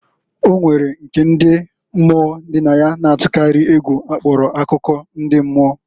O nwere nke ndi mmụọ dị na ya na-atụkarị egwu akpọrọ akụkọ ndị mmụọ.